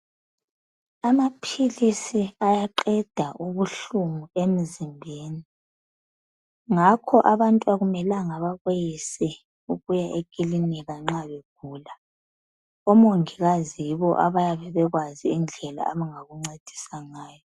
Amaphilisi ayaqeda kubuhlungu emzimbeni, ngakho abantu akumelanga bakweyise ukuya ekilinika nxa begula. Omongikazi yibo abayabe be kwazi indlela abangakuncedisa ngayo.